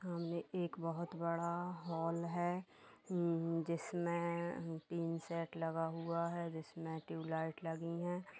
सामने एक बहुत बड़ा हाल है जिसमें तीन सेट लगा हुआ है जिसमे ट्यूब लाइट लगी हैं ।